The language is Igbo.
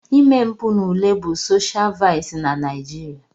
Ime mpụ n'ule bụ soshial vaịsị na Naijiria.